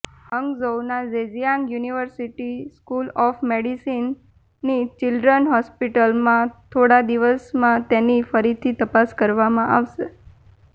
હંગઝોઉના Zhejiang university school of મેડિસિનની children's હોસ્પિટલમાં થોડા દિવસોમાં તેની ફરીથી તપાસ કરવામાં આવશે